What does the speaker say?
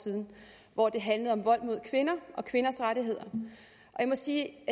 siden hvor det handlede om vold mod kvinder og kvinders rettigheder og jeg må sige